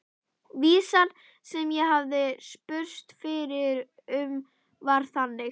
Vísan sem ég spurðist fyrir um var þannig: